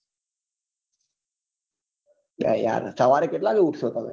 બે યાર સવારે કેટલા વાગે ઉઠ્સો તમે ભાઈ સેમ